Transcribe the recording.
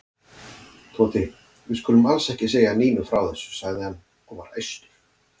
Tóti, við skulum alls ekki segja Nínu frá þessu sagði hann og var æstur.